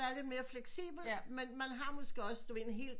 Være lidt mere fleksibel men man har måske også du ved en hel